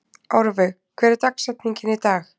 Árveig, hver er dagsetningin í dag?